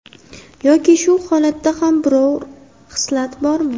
Yoki shu holatda ham biror xislat bormi?